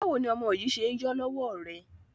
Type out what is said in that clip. Báwo ni ọmọ yìí ṣe ń yọ lọ́wọ́ rẹ?